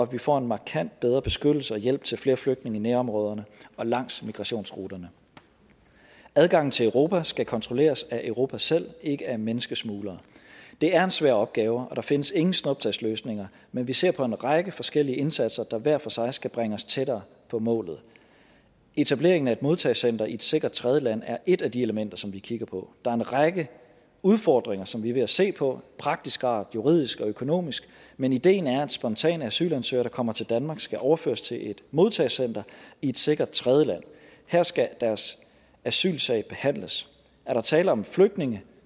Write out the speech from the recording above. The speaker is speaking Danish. vi får en markant bedre beskyttelse og hjælp til flere flygtninge i nærområderne og langs migrationsruterne adgangen til europa skal kontrolleres af europa selv ikke af menneskesmuglere det er en svær opgave og der findes ingen snuptagsløsninger men vi ser på en række forskellige indsatser der hver for sig skal bringe os tættere på målet etableringen af et modtagecenter i et sikkert tredjeland er et af de elementer som vi kigger på der er en række udfordringer som vi er ved at se på af praktisk art juridisk og økonomisk men ideen er at spontane asylansøgere der kommer til danmark skal overføres til et modtagercenter i et sikkert tredjeland her skal deres asylsag behandles er der tale om flygtninge